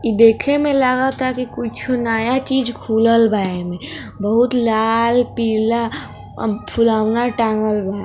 इ देखे में लागता की कुछ नया चीज़ खुलल बा एने बहुत लाल पिला अ फुलोना टॉगल बा |